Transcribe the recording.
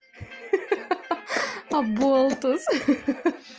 ха-ха-ха-ха аболтус ха-ха-ха-ха